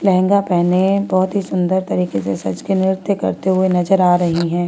लहंगा पहने बहुत ही सुंदर तरीके के नृत्य करते हुए नजर आ रही है।